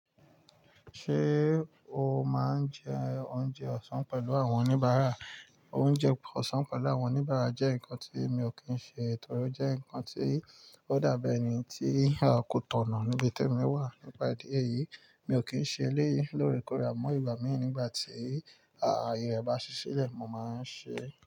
Ṣé o máa ń jẹ oúnjẹ ọ̀sán pẹ̀lú àwọn oníbàárà? Oúnjẹ ọ̀sán pẹ̀lú àwọn oníbàárà jẹ́ nǹkan tí mi ò kí ń ṣe torí ó jẹ́ nǹkan tí ó dàbí ẹni tí a kò tọ̀nà níbi tí èmi wà. Nípa ìdí èyí, mi ò kí ń ṣe eléyìí lóòrèkóòrè àmọ́ ìgbà mìí nígbà tí ayẹ rẹ bá ṣí silẹ̀, mo máa ń ṣe.